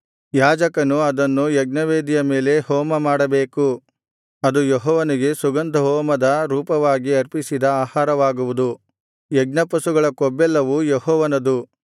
ಯಾಜಕನು ಅದನ್ನು ಯಜ್ಞವೇದಿಯ ಮೇಲೆ ಹೋಮಮಾಡಬೇಕು ಅದು ಯೆಹೋವನಿಗೆ ಸುಗಂಧಹೋಮದ ರೂಪವಾಗಿ ಅರ್ಪಿಸಿದ ಆಹಾರವಾಗಿರುವುದು ಯಜ್ಞಪಶುಗಳ ಕೊಬ್ಬೆಲ್ಲವೂ ಯೆಹೋವನದು